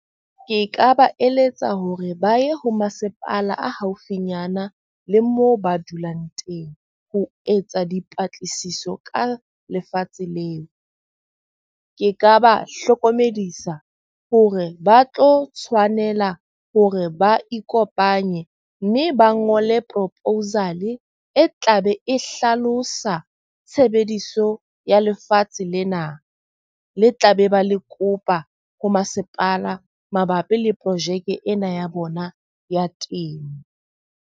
Ke ka ba eletsa hore ba ye ho masepala a haufinyana le moo ba dulang teng. Ho etsa dipatlisiso ka lefatshe leo. Ke ka ba hlokomedisa hore ba tlo tshwanela hore ba ikopanye mme ba ngole proposal e tlabe e hlalosa tshebediso ya lefatshe lena le tla be ba le kopa ho masepala mabapi le projeke ena ya bona ya temo.